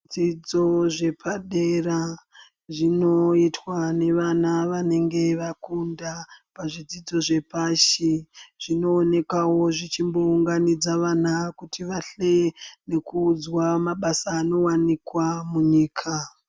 Zvidzidzo zvepadera zvinoitwa nevana vanenge vakunda zvidzidzo zvepashi zvinoonekawo zvichimbounganidza vana kuti vahleye nekuudzwa mabasa anowanikwa munyika.